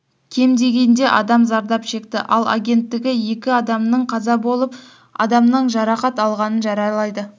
кем дегенде адам зардап шекті ал агенттігі екі адамеың қаза болып адамның жарақат алғанын хабарлайды